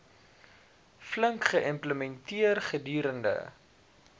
flink geïmplementeer gedurende